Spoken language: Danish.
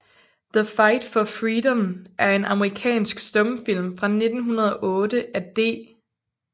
The Fight for Freedom er en amerikansk stumfilm fra 1908 af D